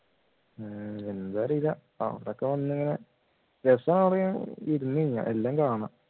ഉം എന്താ അറിയില്ല അവിടെയൊക്കെ വന്ന് ഇങ്ങനെ എല്ലാം കാണാം